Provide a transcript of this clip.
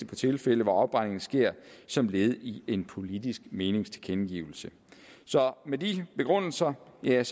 de tilfælde hvor afbrændingen skete som et led i en politisk meningstilkendegivelse så med de begrundelser vil jeg